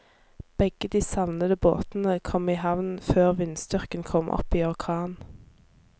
Begge de savnede båtene kom i havn før vindstyrken kom opp i orkan.